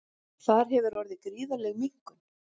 Þar hefur orðið gríðarleg minnkun